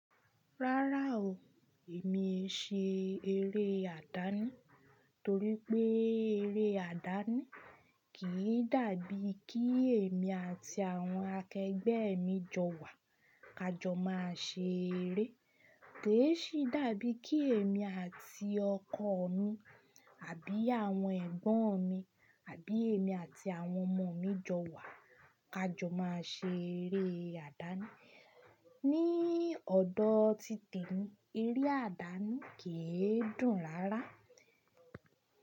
Rárá o, èmi ṣe eré àdáni torí pé eré àdáni kì í dàbí kí èmi àti àwọn akẹgbẹ́ mi jọ wà, ka jọ máa ṣe eré. Kèé ṣí dàbí kí èmi àti ọkọ mi àbí àwọn ẹ̀gbọ́n mi àbí èmi àti àwọn ọmọ mi jọ wà, ka jọ máa ṣe eré àdáni. Ni ọ̀dọ̀ títì ni, eré àdáni kì í dùn rárá.